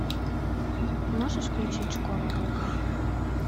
можешь включить школа рока